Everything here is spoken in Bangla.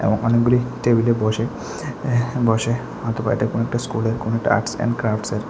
এবং অনেকগুলি টেবিলে বসে বসে অথবা এটা কোনো একটা স্কুলের আর্টস এন্ড ক্রাফটস এ--